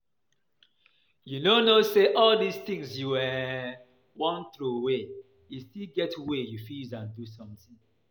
You no know say all dis things you um wan throway e still get way you fit use am do something